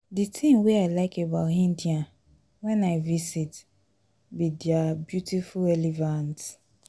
the thing wey i like about india wen i visit be their beautiful elephants